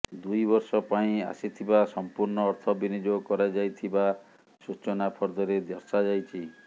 ଦୁଇବର୍ଷ ପାଇଁ ଆସିଥିବା ସଂପୂର୍ଣ୍ଣ ଅର୍ଥ ବିନିଯୋଗ କରାଯାଇଥିବା ସୂଚନାଫର୍ଦ୍ଦରେ ଦର୍ଶାଯାଇଛି